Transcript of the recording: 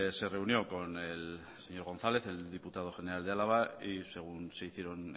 se reunió con el señor gonzález el diputado general de álava y según se hicieron